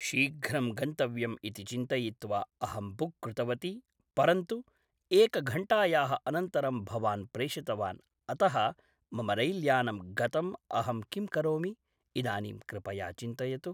शीघ्रं गन्तव्यम् इति चिन्तयित्वा अहं बुक् कृतवती परन्तु एकघण्टायाः अनन्तरं भवान् प्रेषितवान् अतः मम रैल्यानं गतं अहं किं करोमि इदानीं कृपया चिन्तयतु